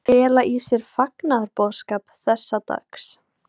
Fela í sér fagnaðarboðskap þessa dags.